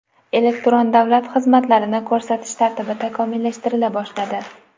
Elektron davlat xizmatlarini ko‘rsatish tartibi takomillashtirila boshladi.